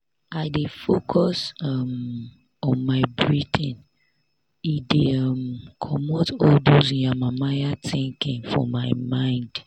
i dey focus um on my breathing e dey um comot all dos yamamaya thinking for my mind.